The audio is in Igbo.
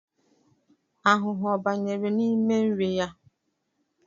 Ahụhụ ọ banyere n’ime nri ya?